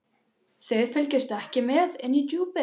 Þið fylgist ekki mikið með inni í Djúpi.